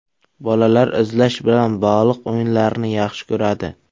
Bolalar izlash bilan bog‘liq o‘yinlarni yaxshi ko‘radi.